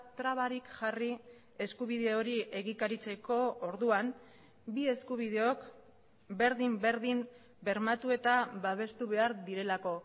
trabarik jarri eskubide hori egikaritzeko orduan bi eskubideok berdin berdin bermatu eta babestu behar direlako